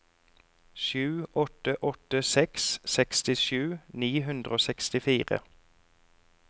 sju åtte åtte seks sekstisju ni hundre og sekstifire